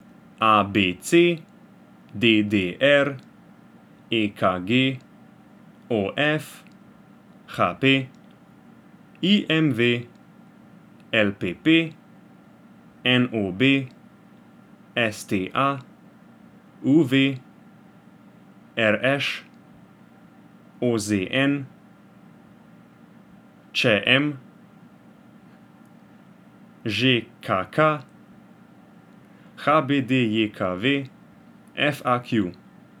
A B C; D D R; E K G; O F; H P; I M V; L P P; N O B; S T A; U V; R Š; O Z N; Č M; Ž K K; H B D J K V; F A Q.